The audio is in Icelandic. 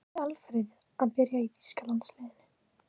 Væri Alfreð að byrja í þýska landsliðinu?